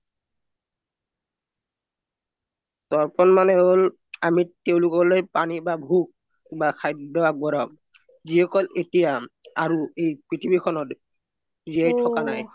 দৰ্পন মনে হল অমি তেওলোক লৈ পনি বা ভুগ বা খৈদ্য আগবঢ়াও যিসকল এতিয়া